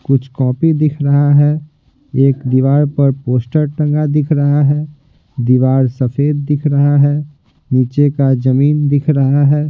कुछ कॉपी दिख रहा है एक दीवार पर पोस्टर टंगा दिख रहा है दीवार सफेद दिख रहा है नीचे का जमीन दिख रहा है।